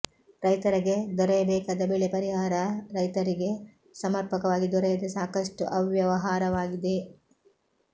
ರೈತರಗೆ ದೊರೆಯಬೇಕಾದ ಬೆಳೆ ಪರಿಹಾರ ರೈತರಿಗೆ ಸಮರ್ಪಕವಾಗಿ ದೊರೆಯದೆ ಸಾಕಷ್ಟು ಅವ್ಯವಹಾರವಾಗಿದೆ